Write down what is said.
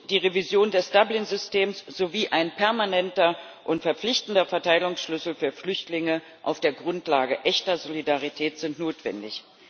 Die Revision des Dublin Systems sowie ein permanenter und verpflichtender Verteilungsschlüssel für Flüchtlinge auf der Grundlage echter Solidarität sind notwendig.